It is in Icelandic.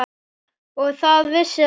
Og það vissi hann vel.